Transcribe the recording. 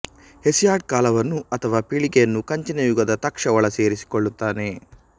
Hesiod ಕಾಲವನ್ನು ಅಥವಾ ಪೀಳಿಗೆಯನ್ನು ಕಂಚಿನ ಯುಗದ ತಕ್ಶ ಒಳಸೇರಿಸಿಕೊಳ್ಳುತ್ತಾನೆ